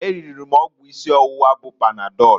E riri m ọgwụ isi ọwụwa bụ panadọlụ